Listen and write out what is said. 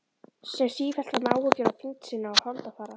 Sem sífellt var með áhyggjur af þyngd sinni og holdafari.